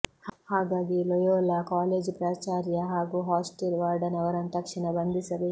ಹಾಗಾಗಿ Loyola college ಪ್ರಾಚಾರ್ಯ ಹಾಗೂ ಹಾಸ್ಟೇಲ್ ವಾರ್ಡನ್ ಅವರನ್ನು ತಕ್ಷಣ ಬಂಧಿಸಬೇಕು